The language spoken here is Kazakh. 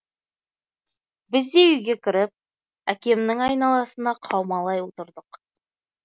біз де үйге кіріп әкемнің айналасына қаумалай отырдық